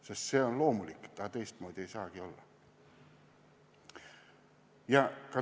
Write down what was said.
Sest see on loomulik, teistmoodi ei saagi olla.